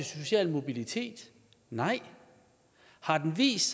social mobilitet nej har den vist